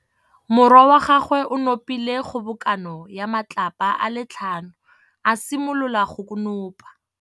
Morwa wa gagwe o nopile kgobokanô ya matlapa a le tlhano, a simolola go konopa.